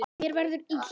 Mér verður illt.